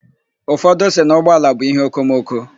Ụfọdụ sị na ụgbọala bụ íhéokomoko.